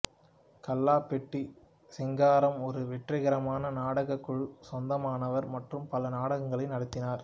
கல்லாபெட்டி சிங்காரம் ஒரு வெற்றிகரமான நாடகக் குழுவுக்கு சொந்தமானவர் மற்றும் பல நாடகங்களை நடத்தினார்